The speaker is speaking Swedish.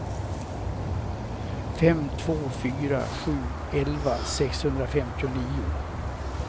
fem två fyra sju elva sexhundrafemtionio